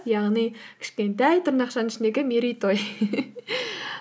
яғни кішкентай тырнақшаның ішіндегі мерейтой